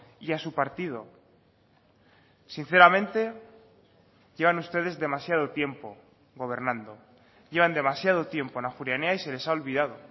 y a su partido sinceramente llevan ustedes demasiado tiempo gobernando llevan demasiado tiempo en ajuria enea y se les ha olvidado